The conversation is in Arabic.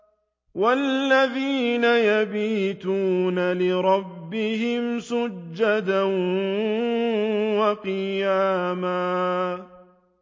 وَالَّذِينَ يَبِيتُونَ لِرَبِّهِمْ سُجَّدًا وَقِيَامًا